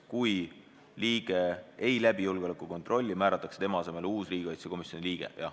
" Kui liige ei läbi julgeolekukontrolli, määratakse tema asemele uus riigikaitsekomisjoni liige.